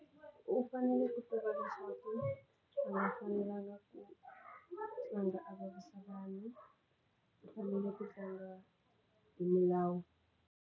U fanele ku a nga fanelanga ku tlanga a vavisa vanhu u fanele ku tlanga hi milawu.